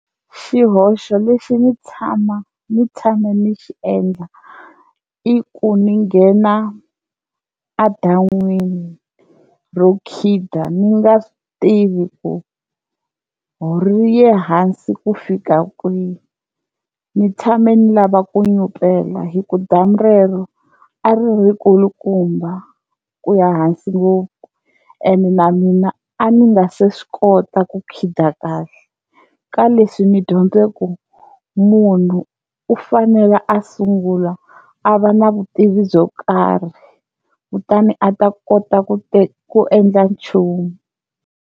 Xihoxo lexi ni tshama ni tshame ni xi endla i ku ni nghena a dan'wini ro khida ni nga tivi ku ri ye hansi ku fika kwihi, ni tshame ni lava ku nyupela hi ku damu rero a ri ri kulukumba ku ya hansi ngopfu ene na mina a ni nga se swi kota ku khida kahle, ka leswi ni dyondze ku munhu u fanele a sungula a va na vutivi byo karhi kutani a ta kota ku ku endla nchumu.